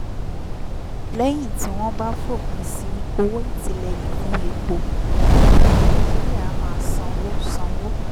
lẹ́yìn tí wọ́n bá fòpin sí owó ìtìlẹ́yìn fún epo àwọn ará nàìjíríà á máa sanwó sanwó